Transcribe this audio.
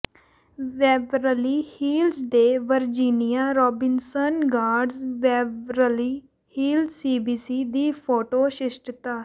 Beverly Hills ਦੇ Virginia Robinson Gardens Beverly Hills CVB ਦੀ photo ਸ਼ਿਸ਼ਟਤਾ